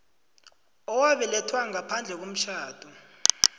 owabelethelwa ngaphandle komtjhado